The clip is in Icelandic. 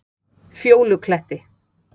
Fjólukletti